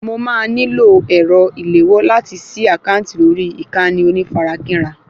Mo máa nílò ẹ̀rọ ìléwọ́ láti sí àkáǹtì lórí ìkànnì onífarakínra